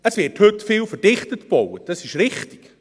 Es wird heute viel verdichtet gebaut, das ist richtig.